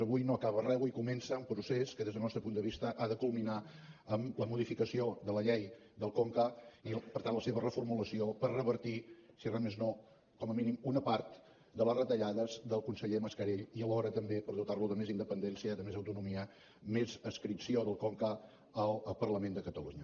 avui no acaba res avui comença un procés que des del nostre punt de vista ha de culminar amb la modificació de la llei del conca i per tant la seva reformulació per revertir si res més no com a mínim una part de les retallades del conseller mascarell i alhora també per dotar lo de més independència de més autonomia més adscripció del conca al parlament de catalunya